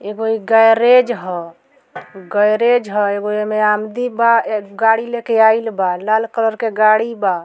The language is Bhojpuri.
एगो इ गैरेज हई गैरेज हई एगो ए में आमदी बा गाड़ी लेके आइल बा लाल कलर के गाड़ी बा।